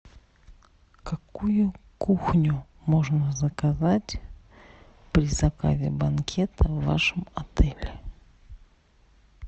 какую кухню можно заказать при заказе банкета в вашем отеле